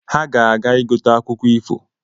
Ha ga-aga igote akwụkwọ ifo